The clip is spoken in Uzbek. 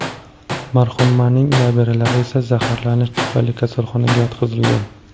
Marhumaning nabiralari esa zaharlanish tufayli kasalxonaga yotqizilgan.